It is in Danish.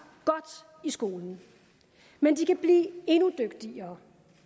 godt i skolen men de kan blive endnu dygtigere